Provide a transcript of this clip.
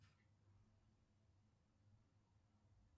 афина чем платить в молдавии